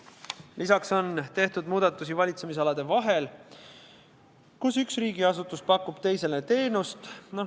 Lisaks on tehtud muudatusi valitsemisalade vahel, kus üks riigiasutus pakub teisele teenust.